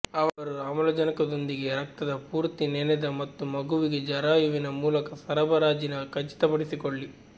ಅವರು ಆಮ್ಲಜನಕದೊಂದಿಗೆ ರಕ್ತದ ಪೂರ್ತಿ ನೆನೆದ ಮತ್ತು ಮಗುವಿಗೆ ಜರಾಯುವಿನ ಮೂಲಕ ಸರಬರಾಜಿನ ಖಚಿತಪಡಿಸಿಕೊಳ್ಳಿ